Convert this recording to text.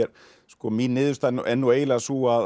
mín niðurstaða er nú eiginlega sú að